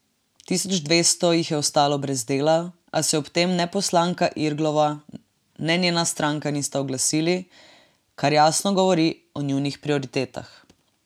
Tisoč dvesto jih je ostalo brez dela, a se ob tem ne poslanka Irglova ne njena stranka nista oglasili, kar jasno govori o njunih prioritetah.